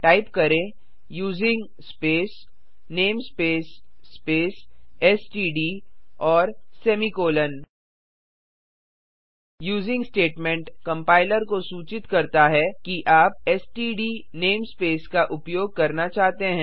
type करें using space namespace space STD और semicolon using statement compiler को सूचित करता है कि आप एसटीडी नेमस्पेस का उपयोग करना चाहते हैं